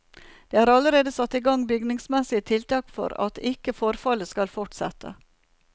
Det er allerede satt i gang bygningsmessige tiltak for at ikke forfallet skal fortsette.